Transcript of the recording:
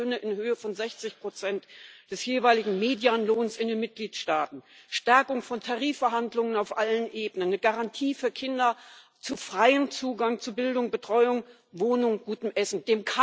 Mindestlöhne in Höhe von 60 des jeweiligen Medianlohns in den Mitgliedstaaten, Stärkung von Tarifverhandlungen auf allen Ebenen, eine Garantie für Kinder für freien Zugang zu Bildung, Betreuung, Wohnung, gutem Essen.